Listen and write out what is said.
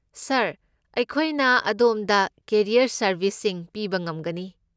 ꯁꯥꯔ, ꯑꯩꯈꯣꯏꯅ ꯑꯗꯣꯝꯗ ꯀꯦꯔꯤꯌꯔ ꯁꯔꯕꯤꯁꯁꯤꯡ ꯄꯤꯕ ꯉꯝꯒꯅꯤ꯫